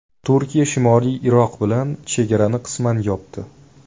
Turkiya Shimoliy Iroq bilan chegarani qisman yopdi.